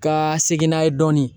Ka segin n'a ye dɔɔni